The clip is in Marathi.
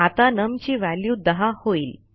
आता नम ची व्हॅल्यू 10 होईल